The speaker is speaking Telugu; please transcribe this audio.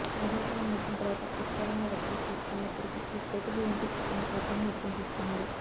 వేసవి కాలం ముగిసిన తరువాత విస్తారంగా వర్షాలు కురుస్తున్నప్పటికి ఈ కోతలు ఏంటి అని ఆగ్రహం వ్యక్తం చేస్తున్నారు